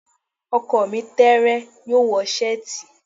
Ọkọ mi tẹẹrẹ, yoo wọ seeti.